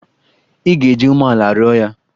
Ị ga-eji umeala rịọ ya!